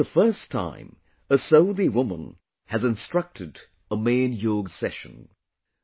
This is the first time a Saudi woman has instructed a main yoga session